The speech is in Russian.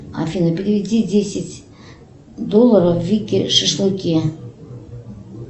афина переведи десять долларов вике шашлыки